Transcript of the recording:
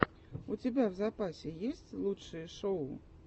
у тебя в запасе есть лучшие шоу